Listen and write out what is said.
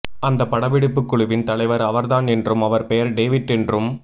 அந்தப் படப்பிடிப்புக் குழுவின் தலைவர் அவர்தான் என்றும் அவர் பெயர் டேவிட் என்றும்